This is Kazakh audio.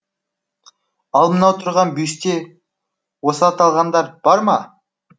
ал мынау тұрған бюсте осы аталғандар бар ма